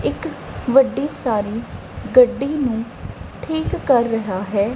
ਇੱਕ ਵੱਡੀ ਸਾਰੀ ਗੱਡੀ ਨੂੰ ਠੀਕ ਕਰ ਰਿਹਾ ਹੈ।